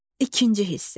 İkinci hissə.